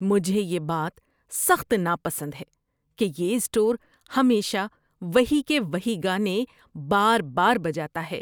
مجھے یہ بات سخت ناپسند ہے کہ یہ اسٹور ہمیشہ وہی کہ وہی گانے بار بار بجاتا ہے۔